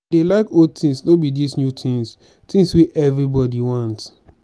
i dey like old things no be dis new things things wey everybody want